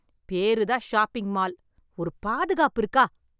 பேரு தான் shopping mall, ஒரு பாதுகாப்பு இருக்கா?